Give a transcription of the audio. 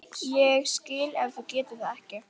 Ég skil ef þú getur það ekki.